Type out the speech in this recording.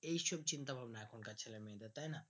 এই সব চিন্তা ভাবনা এখন কার ছেলে মেয়েদের তাই না